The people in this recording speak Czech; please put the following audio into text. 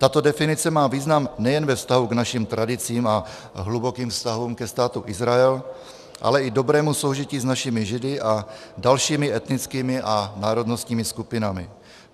Tato definice má význam nejen ve vztahu k našim tradicím a hlubokým vztahům ke Státu Izrael, ale i dobrému soužití s našimi Židy a dalšími etnickými a národnostními skupinami.